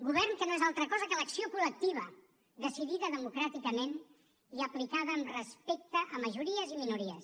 govern que no és altra cosa que l’acció col·lectiva decidida democràticament i aplicada amb respecte a majories i minories